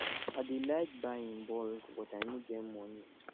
i dey like buy in bulk but i no get moni